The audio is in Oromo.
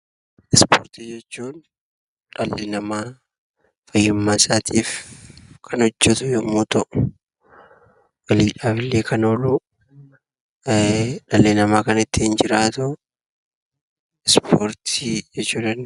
Ispoortii jechuun dhalli namaa fayyummaa isaatiif kan hojjatu yommuu ta'u, dhalli namaa kan ittiin jiraatu ispoortii jechuu dandeenya.